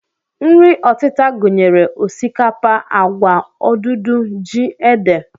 Nri ọtịta gụnyere osikapa, agwa, odudu, ji, ede